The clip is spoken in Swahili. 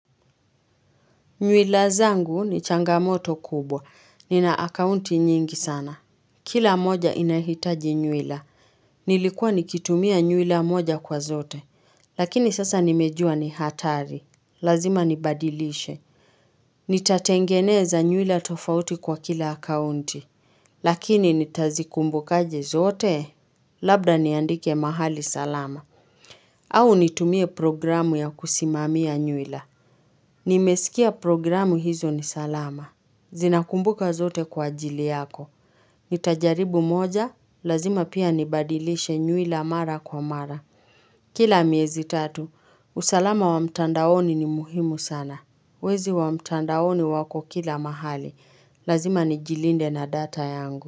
Nywila zangu ni changamoto kubwa. Nina akaunti nyingi sana. Kila moja inahitaji nywila. Nilikuwa nikitumia nywila moja kwa zote. Lakini sasa nimejua ni hatari. Lazima nibadilishe. Nitatengeneza nywila tofauti kwa kila akaunti. Lakini nitazikumbukaje zote. Labda niandike mahali salama. Au nitumie programu ya kusimamia nywila. Nimesikia programu hizo ni salama. Zinakumbuka zote kwa jili yako. Nitajaribu moja, lazima pia nibadilishe nywila mara kwa mara. Kila miezi tatu, usalama wa mtandaoni ni muhimu sana. Wezi wa mtandaoni wako kila mahali, lazima nijilinde na data yangu.